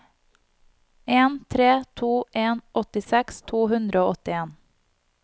en tre to en åttiseks to hundre og åttien